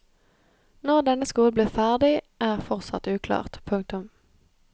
Når denne skolen blir ferdig er fortsatt uklart. punktum